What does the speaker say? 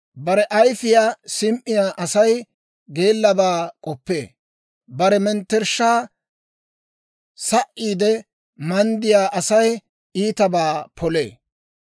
Bare ayifiyaa sim"iyaa Asay geellabaa k'oppee; bare mettershshaa sa"iide manddiyaa Asay iitabaa polee.